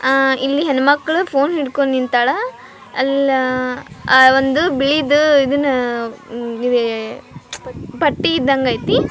ಆ ಇಲ್ಲಿ ಹೆಣ್ಮಕ್ಳು ಫೋನ್ ಹಿಡ್ಕೊಂಡ್ ನಿಂತಾಳ ಅಲ್ಲಾ ಅಅ ಅ ಓಂದು ಬಿಳಿದು ಇದನ್ನ ಎದೆ ಎಎ ಪಟ್ಟಿ ಇದ್ದಂಗ ಅಯ್ತಿ --